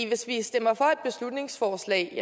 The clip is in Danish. hvis vi stemmer for et beslutningsforslag